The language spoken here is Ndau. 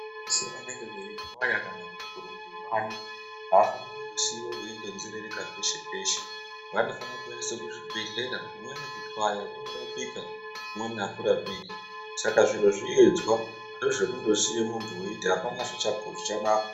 Vese vanenge veit'yaya kana kurumbe bani avafani kungosiwa veingonzerereka peshe peshe vanofana kuendeswe kuzvibhedhlera kumwwni kut'yaya kunorapika kumweni akurapiki saka zviro zviyedzwa kwete zvekungosiya muntu weiti apana zvichanaka.